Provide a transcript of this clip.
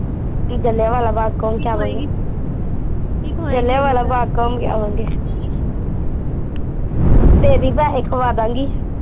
ਜੀਲਿਆਵਾਲਾ ਬਾਗ਼ ਘੁਮ ਕੇ ਆਵਾਂਗੇ ਜੀਲਿਆਵਾਲਾ ਬਾਗ਼ ਘੁਮ ਕੇ ਆਵਾਂਗੇ ਦੇਦੀ ਪੈਸੇ ਖਵਾਦਾਗੀ